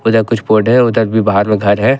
पीछे कुछ पौधे है उधर भी बाहर में घर है।